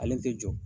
Ale tɛ jɔ